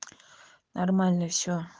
нормально все